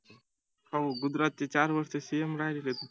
हो गुजरातचे चार वर्ष CM राहिलेत